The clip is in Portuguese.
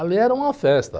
Ali era uma festa.